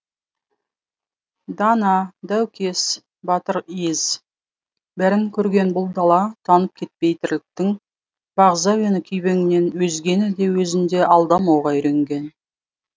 дана даукес батыр ез бәрін көрген бұл дала танып кетпейтірліктің бағзы әуені күйбеңнен өзгені де өзін де алдамауға үйренген